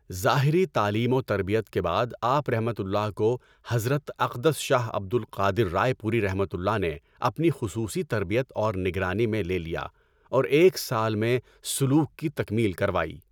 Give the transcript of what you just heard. ظاہری تعلیم و تربیت کے بعد آپؒ کو حضرت اقدس شاہ عبد القادر رائے پوریؒ نے اپنی خصوصی تربیت اور نگرانی میں لے لیا اور ایک سال میں سلوک کی تکمیل کروائی.